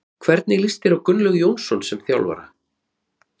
Hvernig líst þér á Gunnlaug Jónsson sem þjálfara?